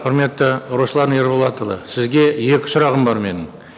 құрметті руслан ерболатұлы сізге екі сұрағым бар менің